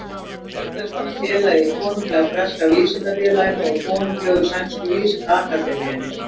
Auk þess var hann félagi í Konunglega breska vísindafélaginu og Konunglegu sænsku vísindaakademíunni.